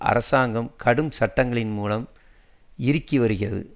அரசாங்கம் கடும் சட்டங்களின் மூலம் இறுக்கி வருகிறது